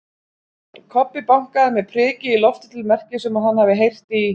Kobbi bankaði með priki í loftið til merkis um að hann hafi heyrt í